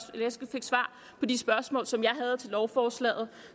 fik svar på de spørgsmål som jeg havde til lovforslaget